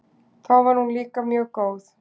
Þá var hún líka mjög góð.